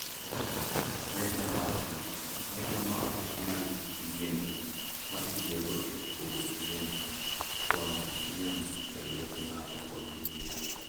Meja mar tich: Meja ma ok nyal yiengni ma itiyogo e pogo chiemo, twang'o chiemo e lwet ng'ato, kod yweyo.